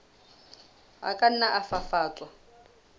a ka nna a fafatswa